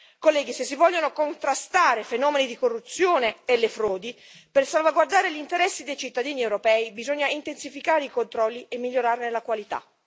Colleghi, se si vogliono contrastare i fenomeni di corruzione e le frodi per salvaguardare gli interessi dei cittadini europei, bisogna intensificare i controlli e migliorarne la qualità.